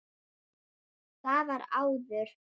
Það var áður.